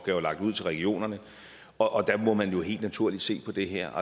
der er lagt ud til regionerne og der må man jo helt naturligt se på det her